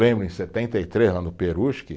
Lembro em setenta e três, lá no Peruche